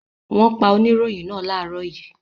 Wọ́n pa oníròyìn náà láàárọ̀ yìí.